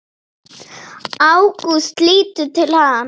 Ágúst lítur til hans.